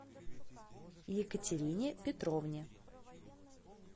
екатерине петровне